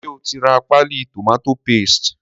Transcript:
Ṣé o ti ra páálí tomato paste?